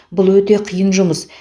бұл өте қиын жұмыс